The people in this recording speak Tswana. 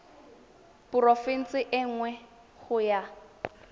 porofense e nngwe go ya